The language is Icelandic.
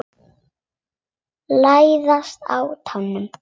Læðast á tánum.